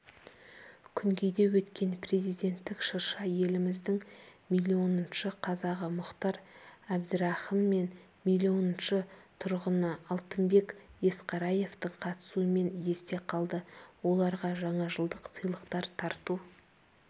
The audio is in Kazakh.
күнгейде өткен президенттік шырша еліміздің миллионыншы қазағы мұхтар әбдірахым мен миллионыншы тұрғыны алтынбек есқараевтың қатысуымен есте қалды оларға жаңажылдық сыйлықтар тарту